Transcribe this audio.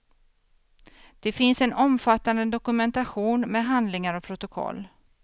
Det finns en omfattande dokumentation med handlingar och protokoll.